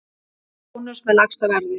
Bónus með lægsta verðið